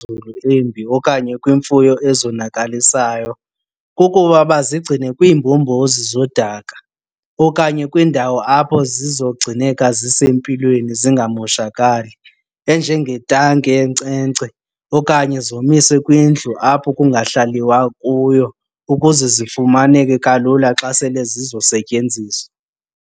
embi okanye kwiimfuyo ezonakalisayo nayo kukuba bazigcine kwiimbombozi zodaka okanye kwiindawo apho zizogcineka zisempilweni zingamoshakali, enjengetanki yenkcenkce okanye zomiswe kwindlu apho kungahlaliwa kuyo ukuze zifumaneke kalula xa sele zizosetyenziswa.